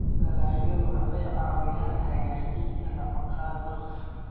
Dalagyadu waxay caawiyaan hagaajinta nafaqada dadka.